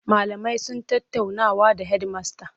Malamai sun tattaunawa da hedimasta.